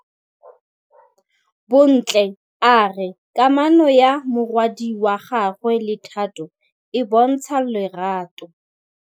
Bontle a re kamanô ya morwadi wa gagwe le Thato e bontsha lerato.